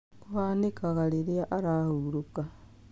Kũhanĩkaga rĩria ũrahurũka.